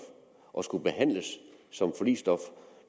og skulle behandles som forligsstof